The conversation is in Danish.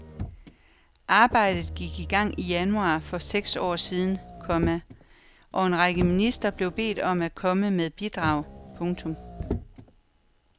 Arbejdet gik i gang i januar for seks år siden, komma og en række ministerier blev bedt om at komme med bidrag. punktum